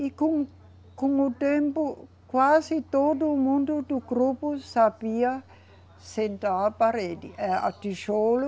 E com o, com o tempo quase todo mundo do grupo sabia sentar a parede, é a tijolo